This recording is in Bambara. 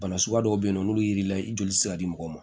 Bana suguya dɔw be yen nɔ n'olu ye lili la i joli ti se ka di mɔgɔw ma